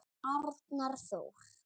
Arnar Þór.